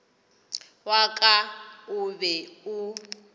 wa ka o be o